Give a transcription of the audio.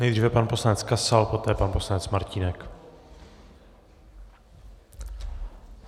Nejdříve pan poslanec Kasal, poté pan poslanec Martínek.